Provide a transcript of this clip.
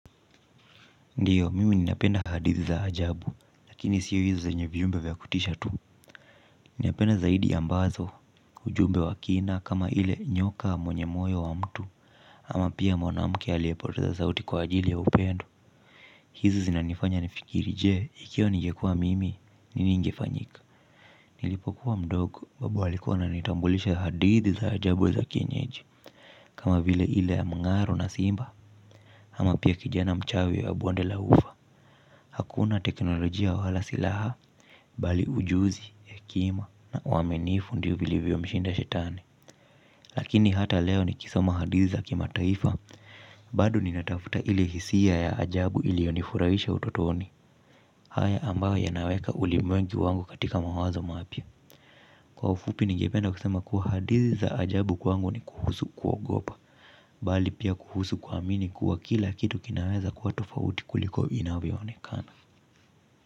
Ndiyo mimi ninapenda hadithi za ajabu lakini siyo hizi zenye viumbe vya kutisha tu ninapenda zaidi ambazo ujumbe wa kina kama ile nyoka mwenye moyo wa mtu ama pia mwanamke aliyepoteza sauti kwa ajili ya upendo hizi zinanifanya nifikiri je, ikiwa ningekua mimi nini ingefanyika nilipokuwa mdogo, babu alikuwa ananitambulisha hadithi za ajabu za kienyeji kama vile ile ya mngaro na simba ama pia kijana mchawi wa bonde la ufa hakuna teknolojia wala silaha mbali ujuzi, hekima na uaminifu ndiyo vilivyomshinda shetani. Lakini hata leo nikisoma hadithi za kimataifa, bado ninatafuta ile hisia ya ajabu iliyonifurahisha utotoni. Haya ambayo yanaweka ulimwengu wangu katika mawazo mapya kwa ufupi ningependa kusema kuwa hadithi za ajabu kwangu ni kuhusu kuogopa bali pia kuhusu kuamini kuwa kila kitu kinaweza kuwa tofauti kuliko inavyoonekana.